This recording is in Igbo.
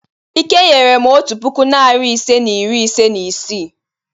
Ike nyere m otu puku, narị ise na iri ise na isii.